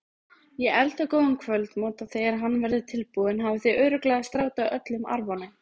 Ég elda góðan kvöldmat og þegar hann verður tilbúinn hafið þið örugglega slátrað öllum arfanum.